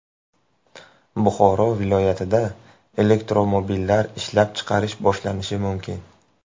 Buxoro viloyatida elektromobillar ishlab chiqarish boshlanishi mumkin.